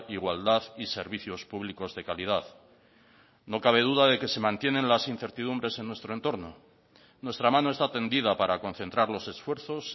igualdad y servicios públicos de calidad no cabe duda de que se mantienen las incertidumbres en nuestro entorno nuestra mano está tendida para concentrar los esfuerzos